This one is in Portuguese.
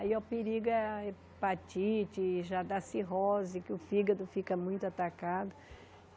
Aí é o perigo é a hepatite, já dá cirrose, que o fígado fica muito atacado.